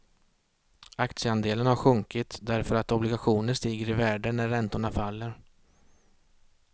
Aktieandelen har sjunkit därför att obligationer stiger i värde när räntorna faller.